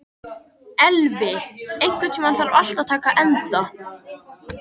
Elvi, einhvern tímann þarf allt að taka enda.